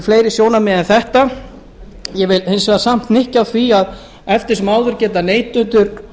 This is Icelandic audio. fleiri sjónarmið en þetta ég vil samt hnykkja á því að eftir sem áður geta neytendur